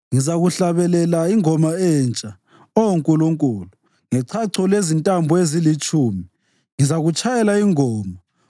Ngizakuhlabelela ingoma entsha, Oh Nkulunkulu; ngechacho lezintambo ezilitshumi ngizakutshayela ingoma,